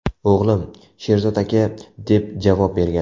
O‘g‘lim: ‘Sherzod aka’, deb javob bergan.